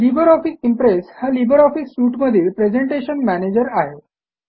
Libre Office Impress हा Libre Office suite मधील presentation manager आहे